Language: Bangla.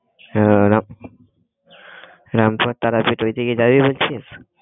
আহ রাম~ রামপুরা তারাপীঠ ঐদিকে যাবি বলছিস?